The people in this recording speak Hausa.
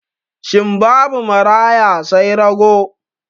Shin babu maraya sai rago?